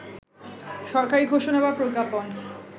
সরকারি ঘোষণা বা প্রজ্ঞাপন